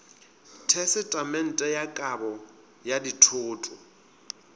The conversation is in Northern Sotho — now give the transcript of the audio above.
tesetamente ya kabo ya dithoto